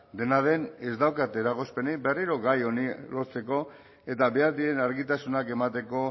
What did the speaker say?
dena den ez daukat eragozpenik berriro gai honi lotzeko eta behar diren argitasunak emateko